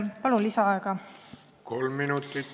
Palun lisaaega!